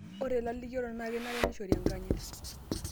ore ilalikiorok naa kenare nishori enkanyit